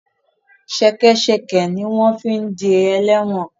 Ṣẹkẹ́ṣẹkẹ̀ ni wọ́n fi ń de ẹlẹ́wọ̀n